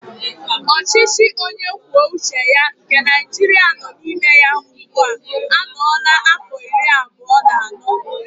Ọchịchị onyekwuoucheya nke naijiria nọ n'ime ya ugbu anọọla áfọ̀ iri abụọ na anọ.